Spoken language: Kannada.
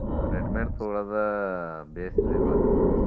ಆಹ್ ready made ತೊಗೊಳೋದ ಭೇಷ್ ಇವಾಗ.